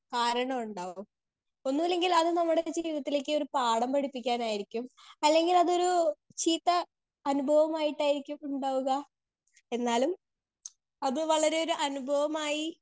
speaker 2 കാരണം ഉണ്ടാവും ഒന്നുല്ലെങ്കിൽ അത് നമ്മുടെ ജീവിതത്തിലേക്ക് ഒരു പാഠം പഠിപ്പിക്കാനായിരിക്കും അല്ലെങ്കിൽ അതൊരു ചീത്ത അനുഭവമായിട്ടായിരിക്കും ഉണ്ടാവുക എന്നാലും അത് വളരെ ഒരു അനുഭവമായി